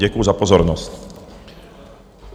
Děkuji za pozornost.